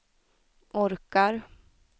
orkar